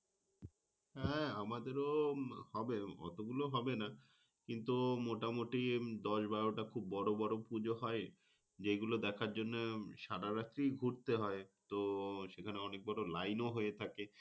আহ আমাদের ও হবে অতগুলো হবে না কিন্তু, মোটামুটি দশ-বারোটা খুব বড় বড় পুজো হয়। যেগুলো দেখার জন্য সারা রাতে ঘুরতে হয়। তো সেখানে অনেক বড় line ও হয়ে থাকে।